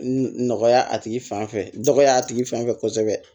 Nɔgɔya a tigi fan fɛ dɔgɔya tigi fan fɛ kosɛbɛ